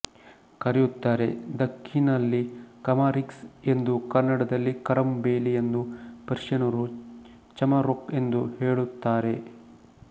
ಕರೆಯುತ್ತಾರೆ ದಕ್ಕನಿನಲ್ಲಿ ಕಮಾರಿಕ್ಸ್ ಎಂದೂಕನ್ನಡದಲ್ಲಿ ಕರಂಬೇಲಿ ಎಂದೂ ಪರ್ಶಿಯನರು ಚಮರೋಕ್ ಎಂದೂ ಹೆಳುತ್ತಾರೆ